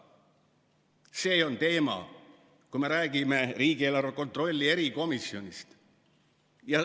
See on teema, kui me räägime riigieelarve kontrolli erikomisjonist.